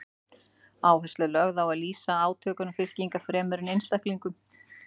Áhersla er lögð á að lýsa átökum fylkinga fremur en einstaklingum.